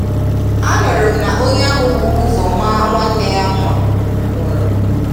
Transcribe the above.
A nụrụ m na onye ahụ bu ụzọ maa nwanne ya mma nwụrụ